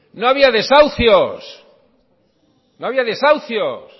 no había desahucios no había desahucios